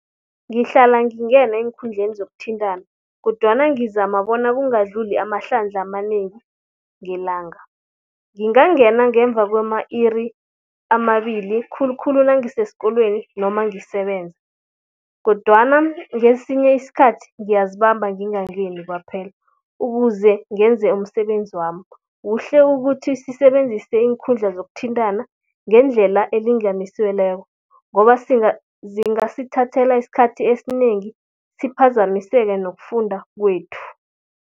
Ngihlala ngingena eenkhundleni zokuthintana, kodwana ngizama bona kungadluli amahlandla amanengi ngelanga. Ngingangena ngemva kwama-iri amabili khulukhulu nangisesikolweni noma ngisebenza. Kodwana ngesinye isikhathi ngiyazibamba ngingangeni kwaphela, ukuze ngenze umsebenzi wami. Kuhle ukuthi sisebenzise iinkhundla zokuthintana ngendlela elinganisiweleko, ngoba zingasithathela isikhathi esinengi siphazamiseke nokufunda kwethu.